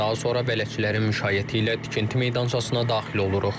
Daha sonra bələdçilərin müşayiəti ilə tikinti meydançasına daxil oluruq.